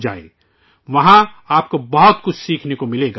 آپ کو وہاں سیکھنے کو بہت کچھ ملے گا